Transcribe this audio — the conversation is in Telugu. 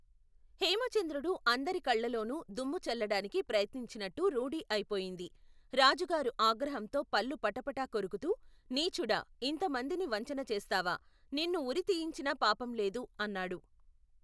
హేమచంద్రుడు అందరి కళ్ళల్లోను దుమ్ము చల్లటానికి ప్రయత్నించినట్టు రూఢీ అయిపోయింది రాజుగారు ఆగ్రహంతో పళ్ళు పటపటా కొరుకుతూ నీచుడా ఇంతమందినీ వంచన చేస్తావా నిన్ను ఉరి తీయించినా పాపంలేదు అన్నాడు.